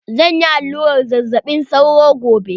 Zan yi aluran zazzaɓi sauro gobe.